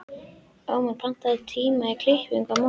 Ómar, pantaðu tíma í klippingu á mánudaginn.